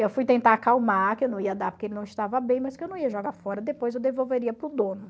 Eu fui tentar acalmar, que eu não ia dar porque ele não estava bem, mas que eu não ia jogar fora, depois eu devolveria para o dono.